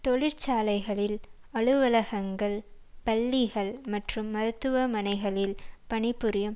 தொழிற்சாலைகளில் அலுவலகங்கள் பள்ளிகள் மற்றும் மருத்துவமனைகளில் பணி புரியும்